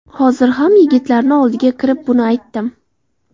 Hozir ham yigitlarni oldiga kirib buni aytdim.